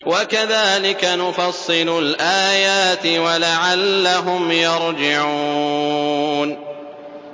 وَكَذَٰلِكَ نُفَصِّلُ الْآيَاتِ وَلَعَلَّهُمْ يَرْجِعُونَ